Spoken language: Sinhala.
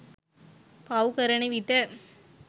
පව් කරන විට